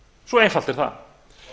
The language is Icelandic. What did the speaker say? svo einfalt er það